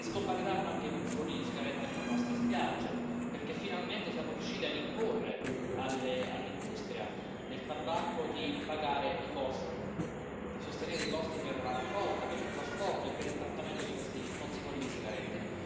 Scompariranno anche i mozziconi di sigarette dalle nostre spiagge, perché finalmente siamo riusciti ad imporre all'industria del tabacco di sostenere i costi per la raccolta, per il trasporto e per il trattamento dei mozziconi di sigarette.